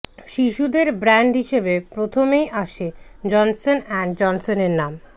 শিশুদের ব্র্যান্ড হিসেবে প্রথমেই আসে জনসন অ্যান্ড জনসনের নাম